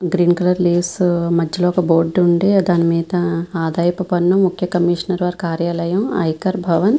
green colour లేస్ మధ్యలో ఒక బోర్డు ఉండి దాని మీద ఆదాయపు పన్ను ముఖ్య కమీషనర్ వారి కార్యాలయం ఐకార్ భవన్ --